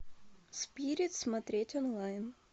спирит смотреть онлайн